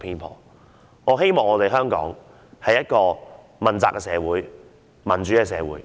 我盼望香港成為一個問責的社會、一個民主的社會。